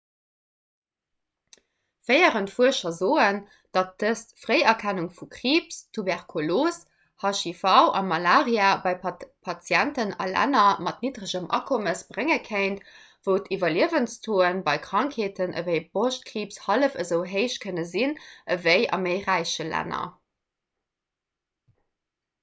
féierend fuerscher soen datt dëst d'fréierkennung vu kriibs tuberkulos hiv a malaria bei patienten a länner mat nidderegem akommes brénge kéint wou d'iwwerliewenstauxe bei krankheeten ewéi broschtkriibs hallef esou héich kënne sinn ewéi a méi räiche länner